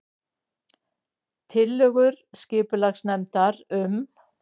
Tillögur skipulagsnefndar um